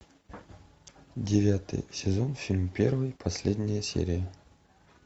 девятый сезон фильм первый последняя серия